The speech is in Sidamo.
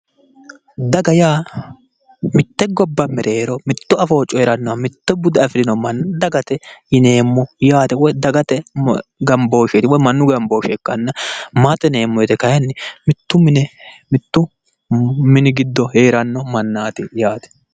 Daga yaa mitte gobba mereero mitto afoo coyrannoha mitto bude afirino manna dagate yineemmo yaate woy dagate gambooshsheeti woyi mannu gambooshshe ikkanna maate yineemmo woyte kayinni mittu mine mittu mini giddoonni heeranno mannaati yaate